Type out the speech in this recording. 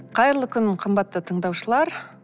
қайырлы кун қымбатты тыңдаушылар